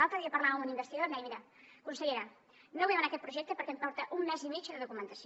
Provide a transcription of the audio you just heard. l’altre dia parlava amb un investigador i em deia mira consellera no vull demanar aquest projecte perquè em porta un mes i mig de documentació